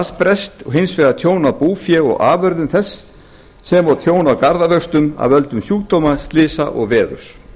og hins vegar tjón á búfé og afurðum þess sem og tjón á garðávöxtum af öldum sjúkdóma slysa og veðurs